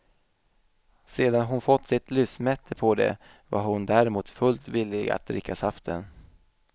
Sedan hon fått sitt lystmäte på det, var hon däremot fullt villig att dricka saften.